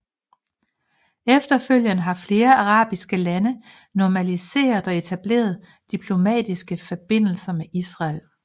Efterfølgende har flere arabiske lande normaliseret og etableret diplomatiske forbindelser med Israel